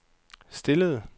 stillede